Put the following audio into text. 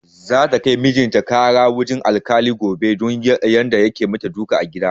Za ta kai mijin ta ƙara wajen alkali gobe don yadda yake dukan ta a gida